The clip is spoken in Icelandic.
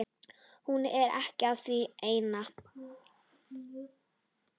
Hún er að því enn!